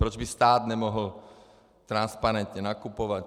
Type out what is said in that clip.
Proč by stát nemohl transparentně nakupovat?